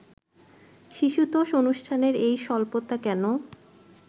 শিশুতোষ অনুষ্ঠানের এই স্বল্পতা কেন